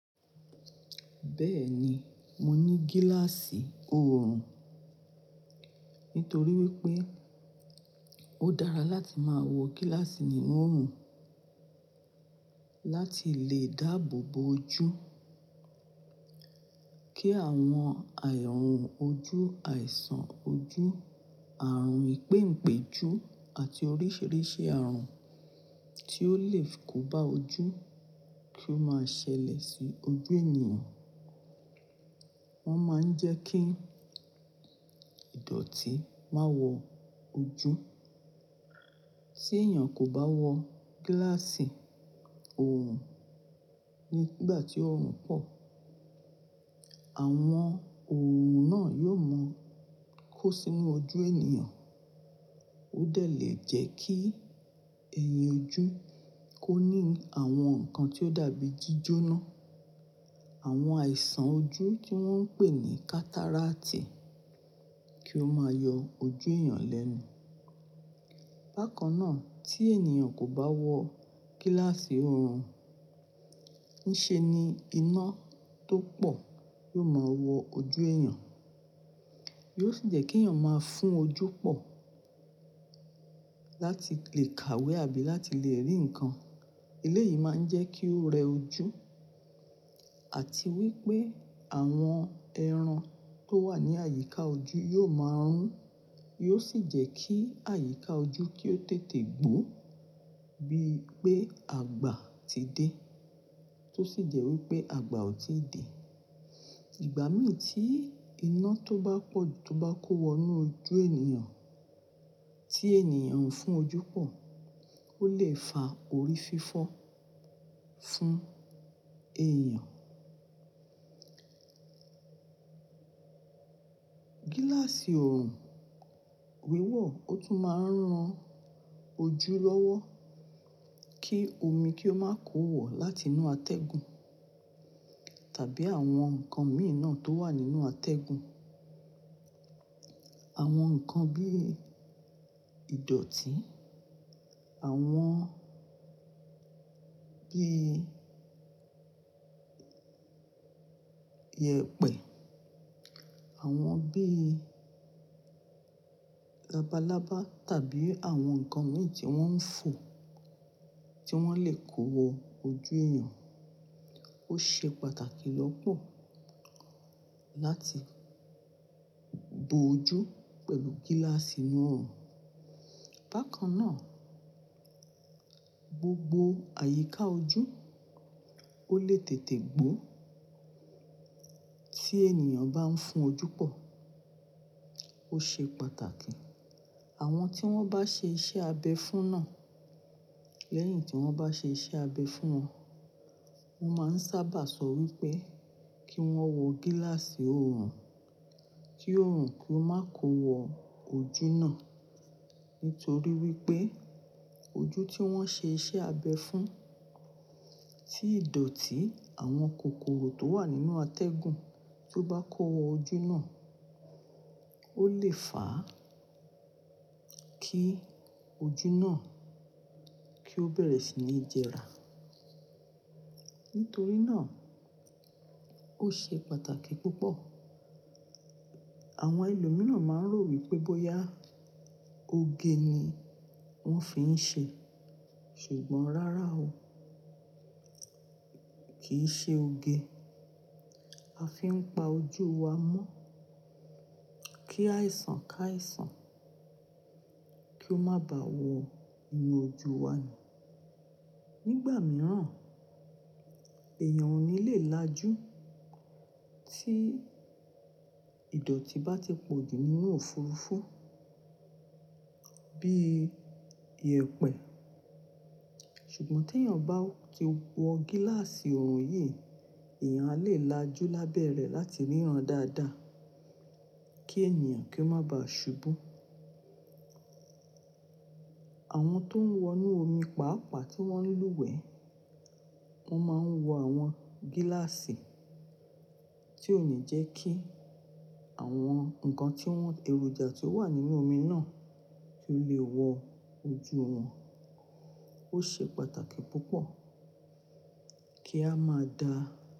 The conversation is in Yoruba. Bẹ́ẹ̀ ni, mo ní gíláàsì òòrùn ni torí wípé ó dára láti máa wọ gíláàsì nínú òòrùn láti lè dáàbò bo ojú kí àwọn àànrun ojú, àìsàn ojú, àrùn ìpèǹpéju àti oríṣìíríṣìí àrùn tí ó le fi kó ba ojú kí ó máa ṣẹlẹ̀ sí ojú ènìyàn. Wọ́n máa ń jẹ́ kí ìdọ̀tí má wọ ojú. Tí èèyàn kò bá wọ gíláàsì òòrùn nígbà tí òòrùn pọ̀, àwọn òòrùn náà yóò mọ kó sínú ojú ènìyàn. Ó dẹ̀ lè jẹ́ kí ẹ̀yìn ojú kó ní àwọn nǹkan tí ó dàbí jíjóná. Àwọn àìsàn ojú tí wọ́n ń pè ní kàtáráàtì kí ó máa yọ ojú èèyàn lẹ́nu. Bákan náà, tí èèyàn kò bá wọ gíláàsì òòrùn, ní ṣe ni iná tó pọ̀ yóò máa wọ ojú èèyàn. Yóò sì jẹ́ kí èèyàn máa fún ojú pọ̀ láti lè kàwé àbí láti lè rí nǹkan. Ilé yìí máa ń jẹ́ kí ó rẹ ojú àti wípé àwọn ẹran tó wà ní àyíká ojú yóò máa rún. Yóò sì jẹ́ kí àyíká ojú kí ó tètè gbó bí i pé àgbà ti dé tó sì jẹ́ wípé àgbà ò tí ì dé. Ìgbà mìí tí iná tó bá pọ̀ tó bá kó wọnú ojú ènìyàn tí ènìyàn ń fún ojú pọ̀ ó lè fa orí fífọ́ fún èèyàn. Gíláàsì òòrùn wíwọ̀ ó tún máa ń ran ojú lọ́wọ́ kí omi kí ó máa kó wọ̀ láti inú àtẹ̀gùn tàbí àwọn nǹkan imi náà tó wà nínú àtẹ̀gùn. Àwọn nǹkan bí i ìdọ̀tí, àwọn bí i iyẹ̀pẹ̀, àwọn bí i labalábá tàbí àwọn ǹkan imi tí wọ́n ń fò tí wọ́n lè kó wọ ojú èèyàn. Ó ṣe pàtàkì lọ́pọ̀ láti bo ojú pẹ̀lú gíláàsì inú òòrùn. Bákan náà, gbogbo àyíká ojú ó lè tètè gbó tí ènìyàn bá ń fún ojú pọ̀. Ó ṣe pàtàkì àwọn tí wọ́n bá ṣe iṣẹ́ abẹ fún náà lẹ́yìn tí wọ́n bá ṣe iṣẹ́ abẹ fún wọn, wọ́n máa ń sábà sọ wípé kí wọ́n wọ gíláàsì òòrùn kí òòrùn kí ó máa kó wọ ojú náà nitorí wípé ojú tí wọ́n ṣe iṣẹ́ abẹ fún tí ìdọ̀tí àwọn kòkòrò tó wà nínú àtẹ̀gùn tó bá kó wọ ojú náà ó lè fà á kí ojú náà kí ó bẹ̀rẹ̀ sí ní jẹrà. Nítorí náà ó ṣe pàtàkì púpọ̀. Àwọn ẹlòmíràn máa ń rò wípé bóyá oge ni wọ́n fi ń ṣe. Ṣùgbọ́n rárá o, kì í ṣe oge. A fi ń pa ojú wa mọ́ kí àìsàn ká àìsàn kí ó máa ba wọ inú ojú wa ni. Nígbà mìíràn, èèyàn ò ní lè lajú tí ìdọ̀tí bá ti pọ̀jù nínú òfurufú bí i iyẹ̀pẹ̀. Ṣùgbọ́n tí èèyàn bá ti wọ gíláàsì òòrùn yìí, èèyàn a lè lajú lábẹ́ẹ̀ rẹ̀ láti ríran dáadáa kí ènìyàn kí ó máa ba ṣubú. Àwọn tó ń wọ inú omi pàápàá tí wọ́n nílùúwẹ̀ẹ́, wọ́n máa ń wọ àwọn gíláàsì tí ó ní jẹ́ kí àwọn nǹkan tí wọ́n èròjà tí ó wà nínú omi náà tó lè wọ ojú wọn. Ó ṣe pàtàkì púpọ̀ kí a máa da.